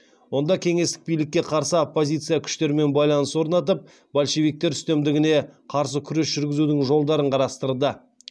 онда кеңестік билікке қарсы оппозиция күштермен байланыс орнатып большевиктер үстемдігіне қарсы күрес жүргізудің жолдарын қарастырды